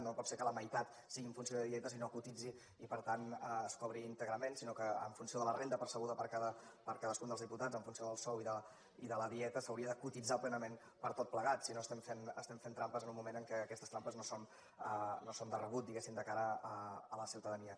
no pot ser que la meitat sigui en funció de dietes i no cotitzi i per tant es cobri íntegrament sinó que en funció de la renda percebuda per cadascun dels diputats en funció del sou i de la dieta s’hauria de cotitzar plenament per tot plegat si no estem fent trampes en un moment en què aquestes trampes no són de rebut diguem ne de cara a la ciutadania